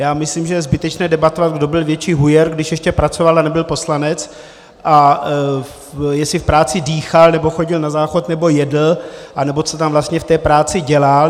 Já myslím, že je zbytečné debatovat, kdo byl větší hujer, když ještě pracoval a nebyl poslanec, a jestli v práci dýchal, nebo chodil na záchod, nebo jedl, anebo co tam vlastně v té práci dělal.